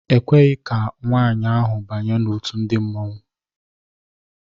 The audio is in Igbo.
E kweghị ka nwaanyị ahụ banye n'òtù ndị Mmanwu.